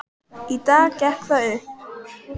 Í dag gekk það upp.